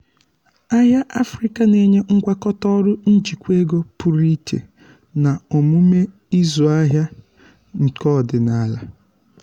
ahịa afrịka na-enye ngwakọta ọrụ njikwa ego pụrụ iche na omume ịzụ ahịa nke ọdịnala.